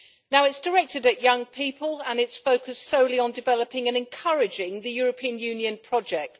It is directed at young people and it is focused solely on developing and encouraging the European Union project.